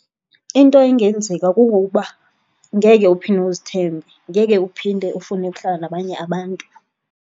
Into engenzeka kungokuba ngeke uphinda uzithembe, ngeke uphinde ufune ukuhlala nabanye abantu.